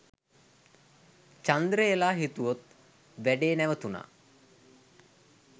චන්දරේල හිතුවත් වැඩේ නැවතුණා.